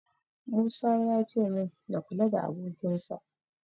Musa yace min na kula da abokinsa.